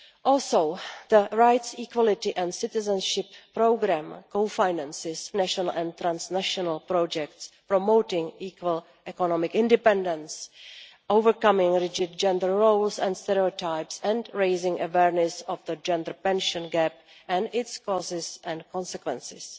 Also, the rights, equality and citizenship programme co finances national and transnational projects, promoting equal economic independence, overcoming rigid gender roles and stereotypes, and raising awareness of the gender pension gap and its causes and consequences.